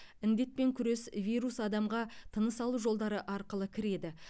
індетпен күрес вирус адамға тыныс алу жолдары арқылы кіреді